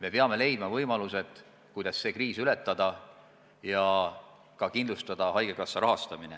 Me peame leidma võimalused, kuidas see kriis ületada ja ka kindlustada haigekassa rahastamine.